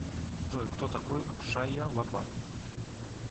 джой кто такой шайя лабаф